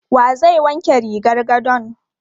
Wa zai wanke rigar gadon?